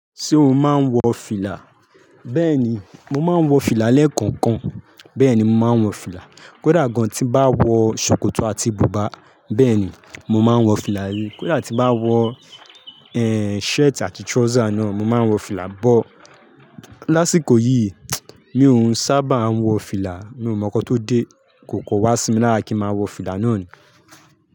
Ṣé o máa ń wọ fìlà? Bẹ́ẹ̀ni, mo máa ń wọ fìlà lẹ́ẹ̀kọ̀kan. Bẹ́ẹ̀ni, mo máa ń wọ fìlà. Kódà gan tí bá wọ ṣòkòtò àti bùbá, bẹ́ẹ̀ni, mo máa ń wọ fìlà rí. Kódà tí bá wọ, shirt àti trouser náà, mo máa ń wọ fìlà. But lásìkò yìí, mi òún sábà ń wọ fìlà. Mi ò mọ̀ kó tó dé, kò kò wá sí mi lára kí n máa wọ fìlà náà ni.